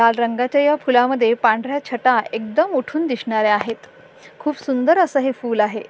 लाल रंगाच्या या फुलामद्धे पांढऱ्या छटा एकदम उठून दिसणाऱ्या आहेत खूप सुंदर असं हे फूल आहे.